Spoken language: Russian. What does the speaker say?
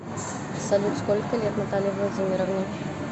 салют сколько лет наталье владимировне